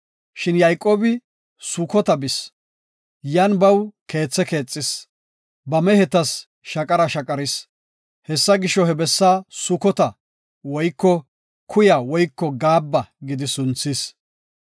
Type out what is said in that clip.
Shin Yayqoobi Sukota bis. Yan baw keethe keexis, ba mehetas shaqara shaqaris. Hessa gisho, he bessa Sukota (Kuya woyko Gaabba) gidi sunthis.